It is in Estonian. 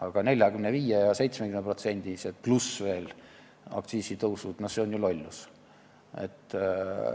Aga 45%- ja 70%-sed aktsiisitõusud, no see on ju lollus.